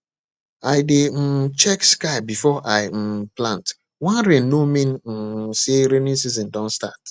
i dey um check sky before i um plant one rain no mean um say rainy season don start